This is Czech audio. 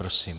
Prosím.